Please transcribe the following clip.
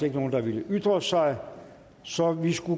ikke nogen der ville ytre sig så vi